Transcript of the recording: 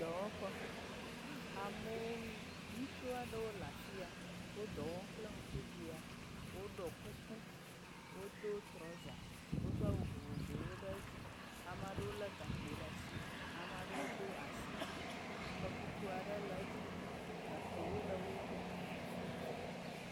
Dɔwɔƒe, amewo, ŋutsu aɖewo dɔ wɔm kple ŋku biã, wodɔ kuku, wodo trɔza, wodo awu vovovowo ɖe edzi ame aɖewo lé gakpo ɖe asi, ame aɖewo do asiwui ɖe asi, xɔtutu aɖe le edzi yim gakpowo le wo gbɔ